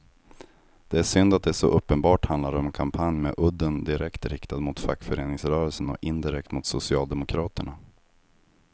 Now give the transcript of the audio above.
Det är synd att det så uppenbart handlar om en kampanj med udden direkt riktad mot fackföreningsrörelsen och indirekt mot socialdemokraterna.